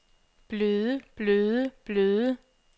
bløde bløde bløde